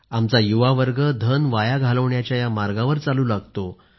आमचा युवा वर्ग धन वाया घालवण्याच्या या मार्गावर चालू लागतो